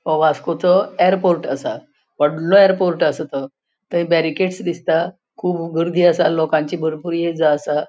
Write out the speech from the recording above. हो वास्कोचो एयरपोर्ट असा. होडलों एयरपोर्ट असा. तो थंय बेरीकेडस दिसता खुब गर्दी असा लोकांची बरपुर ये जा असा.